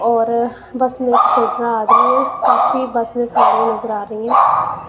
और बस में एक चढ़ रहा आदमी है काफी बस में सवारिया नज़र आ रही है।